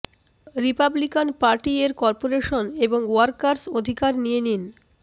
Republican party এর corporation এবং workers অধিকার নিয়ে নিন